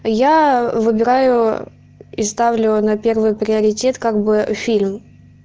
я выбираю и ставлю на первый приоритет как бы фильм